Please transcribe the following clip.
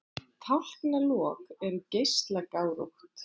Tálknalok eru geislagárótt.